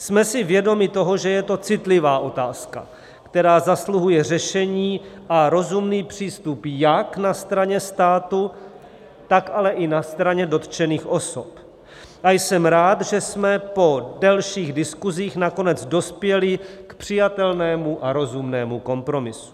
Jsme si vědomi toho, že je to citlivá otázka, která zasluhuje řešení a rozumný přístup jak na straně státu, tak ale i na straně dotčených osob, a jsem rád, že jsme po delších diskusích nakonec dospěli k přijatelnému a rozumnému kompromisu.